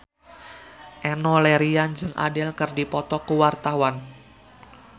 Enno Lerian jeung Adele keur dipoto ku wartawan